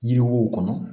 Yiri wo kɔnɔ